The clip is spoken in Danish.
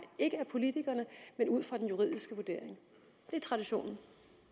ikke af politikerne men ud fra den juridiske vurdering det er traditionen